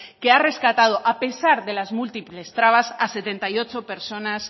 que ha rescatado a pesar de las múltiples trabas a setenta y ocho personas